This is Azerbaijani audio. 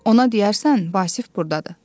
Ona deyərsən Vasif burdadır.